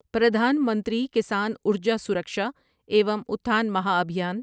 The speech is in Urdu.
پردھان منتری کسان ارجا سرکشا ایوم اٹھان مہا ابھیان